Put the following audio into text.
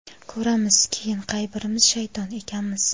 Ko‘ramiz, keyin qay birimiz shayton ekanmiz.